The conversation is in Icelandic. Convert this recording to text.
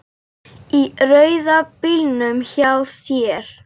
Í rauða bílnum hjá þér.